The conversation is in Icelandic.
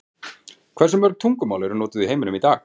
Hversu mörg tungumál eru notuð í heiminum í dag?